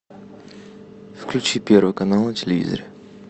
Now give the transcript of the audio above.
включи первый канал на телевизоре